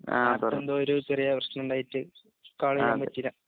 ആൾക്കെന്തോരു ചെറിയെപ്രശ്നണ്ടായിട്ട് കോളേജ്തമ്മിൽചില